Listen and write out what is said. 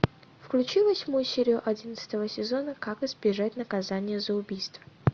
включи восьмую серию одиннадцатого сезона как избежать наказания за убийство